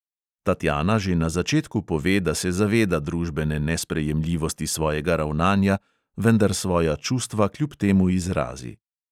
Tatjana že na začetku pove, da se zaveda družbene nesprejemljivosti svojega ravnanja, vendar svoja čustva kljub temu izrazi.